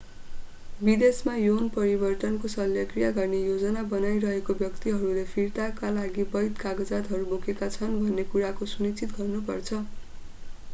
विदेशमा यौन परिवर्तनको शल्यक्रिया गर्ने योजना बनाइरहेका व्यक्तिहरूले फिर्ताका लागि वैध कागजातहरू बोकेका छन् भन्ने कुराको सुनिश्चित गर्नु पर्छ